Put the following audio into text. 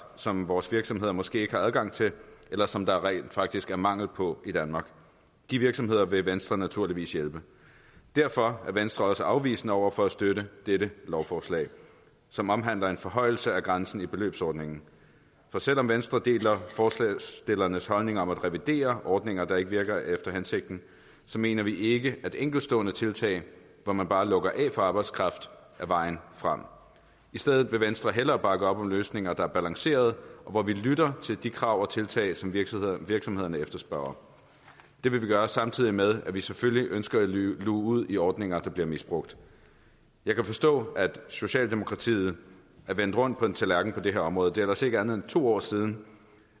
som vores virksomheder måske ikke har adgang til eller som der rent faktisk er mangel på i danmark de virksomheder vil venstre naturligvis hjælpe derfor er venstre også afvisende over for at støtte dette lovforslag som omhandler en forhøjelse af grænsen i beløbsordningen for selv om venstre deler forslagsstillernes holdning om at revidere ordninger der ikke virker efter hensigten så mener vi ikke at enkeltstående tiltag hvor man bare lukker af for arbejdskraft er vejen frem i stedet vil venstre hellere bakke op om løsninger der er balancerede og hvor vi lytter til de krav og tiltag som virksomhederne virksomhederne efterspørger det vil vi gøre samtidig med at vi selvfølgelig ønsker at luge ud i ordninger der bliver misbrugt jeg kan forstå at socialdemokratiet er vendt rundt på en tallerken på det her område det er ellers ikke mere end to år siden